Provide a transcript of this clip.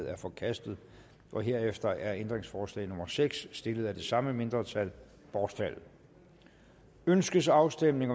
er forkastet herefter er ændringsforslag nummer seks stillet af det samme mindretal bortfaldet ønskes afstemning